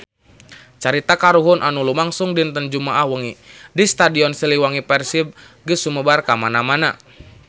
Carita kahuruan anu lumangsung dinten Jumaah wengi di Stadion Siliwangi Persib geus sumebar kamana-mana